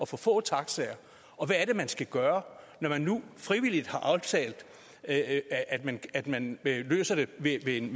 for få taxaer og hvad er det man skal gøre når man nu frivilligt har aftalt at man at man løser det ved en